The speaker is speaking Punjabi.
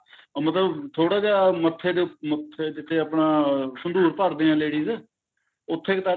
ਅਹ ਮਤਲਬ ਥੋੜਾ ਜਾ ਮੱਥੇ ਦੇ ਮੱਥੇ ਜਿੱਥੇ ਆਪਣਾ ਸੰਦੂਰ ਭਰਦੇ ਆ ladies ਉੱਥੇ ਕ ਤੱਕ